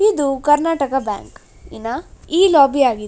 ಇದು ಕರ್ನಾಟಕ ಬ್ಯಾಂಕ್ ಇನ ಈ ಲೋಭಿ ಆಗಿದೆ --